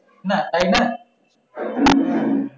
না তাই না?